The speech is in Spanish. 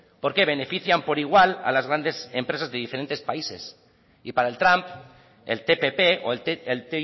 porque benefician por igual a las grandes empresas de diferentes países y para el trump el tpp o el